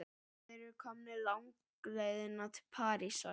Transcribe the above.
Þeir eru komnir langleiðina til Parísar.